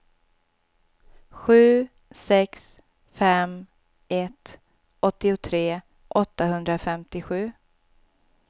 sju sex fem ett åttiotre åttahundrafemtiosju